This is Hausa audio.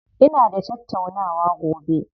Ina da tattaunawa gobe.